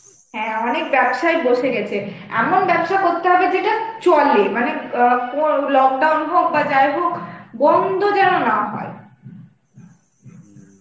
হ্যাঁ অনেক ব্যবসায়ই বসে গেছে এমন ব্যবসা করতে হবে যেটা চলে মানে অ্যাঁ lockdown হোক বা যাই হোক বন্ধ যেন না হয়.